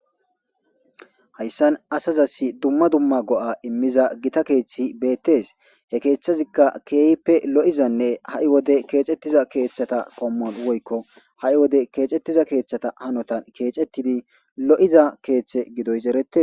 Hayssan asazassi dzumma dzumma go7a immiza githa keeththi beeththees; he keeththazikka keehippe lo7izanne ha7i wode keexeththiza keeththata qommo woykko ha7i wode keexeththiza keeththatha hanothan keexeththidi lo7iza keeththe gidoys ereththees.